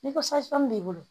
Ni b'i bolo